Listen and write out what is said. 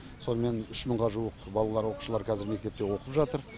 сонымен үш мыңға жуық балалар оқушылар қазір мектепте оқып жатыр